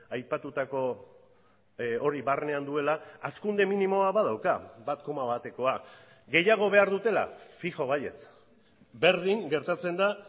aipatutako hori barnean duela hazkunde minimoa badauka bat koma batekoa gehiago behar dutela fijo baietz berdin gertatzen da